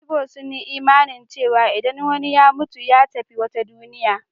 Igbo sun yi imanin cewa idan wani ya mutu, ya tafi wata duniya.